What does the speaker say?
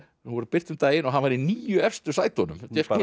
voru birt um daginn og hann var í níu efstu sætunum